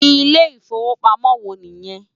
Ilé Ifówópámò wò ni yèn?